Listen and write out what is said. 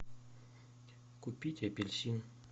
купить апельсин